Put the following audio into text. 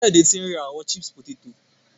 Kayode ti n ra awọn chips poteto.